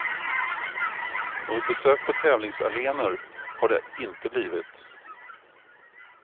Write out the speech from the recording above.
Något besök på tävlingsarenor har det inte blivit.